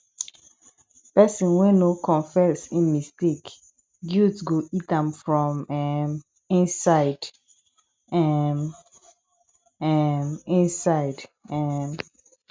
pesin wey no confess im mistake guilt go eat am from um inside um um inside um